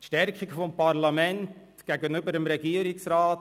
– Zur Stärkung des Parlaments gegenüber dem Regierungsrat: